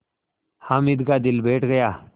हामिद का दिल बैठ गया